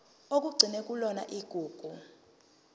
okugcinwe kuyona igugu